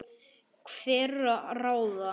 hverra ráða.